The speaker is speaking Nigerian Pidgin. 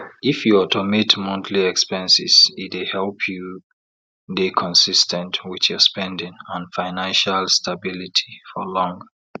if you automate monthly expenses e dey help you dey consis ten t with your spending and fiancial stabily for long